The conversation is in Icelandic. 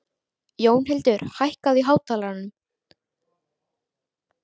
Jónhildur, hækkaðu í hátalaranum.